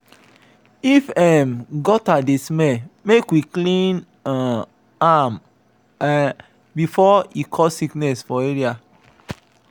if um gutter dey smell make we clean um am um before e cause sickness for area.